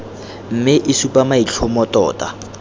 mme e supa maitlhomo tota